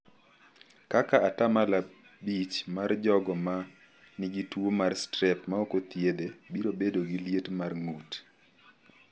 Kaka 5% mar jogo ma nigi tuo mar strep ma ok othiedhe biro bedo gi liet mar ng’ut.